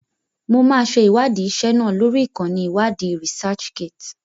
Mo máa ṣe ìwádìí ìṣe náà lórí ìkànnì iwadi "Researchgate".